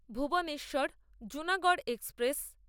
Bhuvneshwar Junagarh express